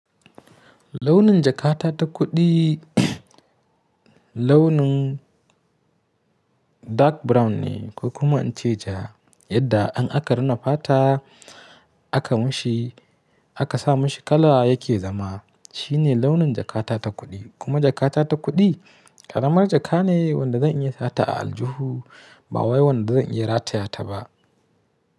Launin jakata ta kuɗi launin dark brown ne kuma in ce ja, yadda in aka rina fata aka mushi aka sa mashi kala yake zama shine launin jakata ta kuɗi. Kuma jakata ta kuɗi ƙaramar jaka ne wanda zan iya sata a aljihu ba wai wanda zan iya rataya ta ba.